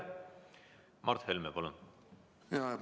Mart Helme, palun!